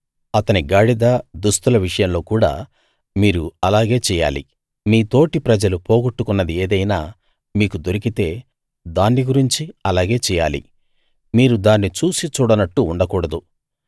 అతని గాడిద దుస్తుల విషయంలో కూడా మీరు అలాగే చెయ్యాలి మీ తోటి ప్రజలు పోగొట్టుకున్నది ఏదైనా మీకు దొరకితే దాన్ని గురించి అలాగే చెయ్యాలి మీరు దాన్ని చూసీ చూడనట్టు ఉండకూడదు